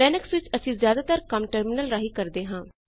Linux ਵਿੱਚ ਅਸੀਂ ਜ਼ਿਆਦਾਤਰ ਕੰਮ ਟਰਮਿਨਲ ਰਾਹੀਂ ਕਰਦੇ ਹਾਂ